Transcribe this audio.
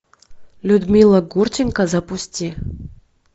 людмила гурченко запусти